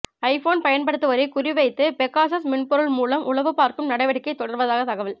iPhone பயன்படுத்துவோரை குறிவைத்து Pegasus மென்பொருள் மூலம் உளவு பார்க்கும் நடவடிக்கை தொடர்வதாக தகவல்